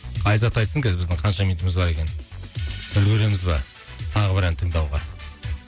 айзат айтсын қазір біздің қанша минутымыз бар екенін үлгереміз ба тағы бір ән тыңдауға